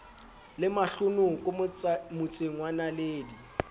le mahlonoko motseng wa naledi